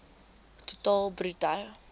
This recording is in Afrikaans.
ton totaal bruto